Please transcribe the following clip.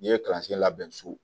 N'i ye kalansen labɛn so